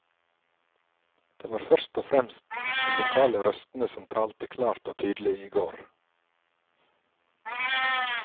Det var først og fremst de lokale røstene som talte klart og tydelig i går.